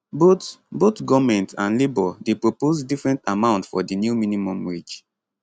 both both goment and labour dey propose different amount for di new minimum wage